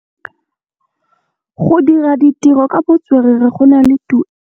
Go dira ditirô ka botswerere go na le tuelô.